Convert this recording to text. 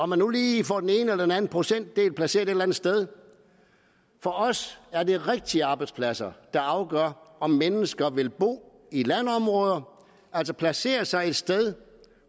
man nu lige får den ene eller den anden procentdel placeret et eller andet sted for os er det rigtige arbejdspladser der afgør om mennesker vil bo i landområder altså placere sig et sted